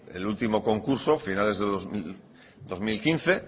el último concurso finales de dos mil quince